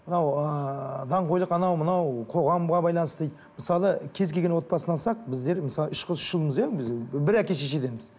мынау ыыы даңғойлық анау мынау қоғамға байланысты дейді мысалы кез келген отбасын алсақ біздер мысалы үш қыз үш ұлмыз иә біз бір әке шешеденбіз